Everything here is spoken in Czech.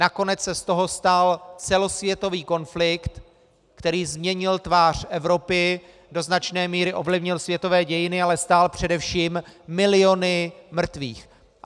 Nakonec se z toho stal celosvětový konflikt, který změnil tvář Evropy, do značné míry ovlivnil světové dějiny, ale stál především miliony mrtvých.